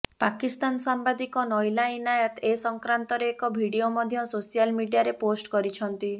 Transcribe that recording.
ପାକିସ୍ତାନ ସାମ୍ବାଦିକ ନଇଲା ଇନାୟତ ଏ ସଂକ୍ରାନ୍ତରେ ଏକ ଭିଡିଓ ମଧ୍ୟ ସୋଶାଲ ମିଡିଆରେ ପୋଷ୍ଟ କରିଛନ୍ତି